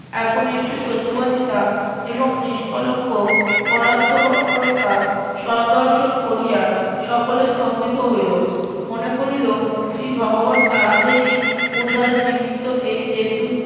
একনিষ্ঠ সত্যবাদিতা এবং নিষ্কলঙ্ক পরার্থপরতা সৌন্দর্শন করিয়া সকলে স্তম্ভিত হইলো মনে করিল শ্রী ভগবান তাহাদেরই উদ্ধারে নিমিত্ত এই দেবদূত